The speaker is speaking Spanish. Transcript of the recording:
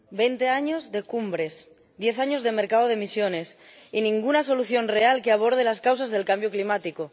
Señora Presidenta, veinte años de cumbres, diez años de mercado de emisiones y ninguna solución real que aborde las causas del cambio climático.